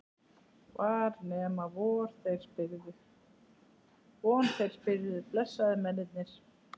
Var nema von þeir spyrðu, blessaðir mennirnir!